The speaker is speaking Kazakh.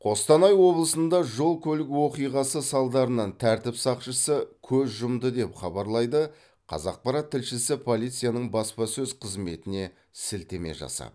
қостанай облысында жол көлік оқиғасы салдарынан тәртіп сақшысы көз жұмды деп хабарлайды қазақпарат тілшісі полицияның баспасөз қызметіне сілтеме жасап